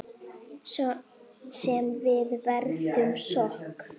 Sem við veiðum sko?